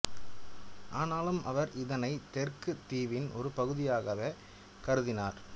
ஆனாலும் அவர் இதனைத் தெற்குத் தீவின் ஒரு பகுதியாகவே கருதினார்